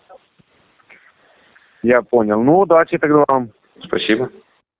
я понял ну удачи тогда вам спасибо